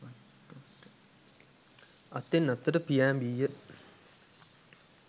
අත්තෙන් අත්තට පියෑඹීය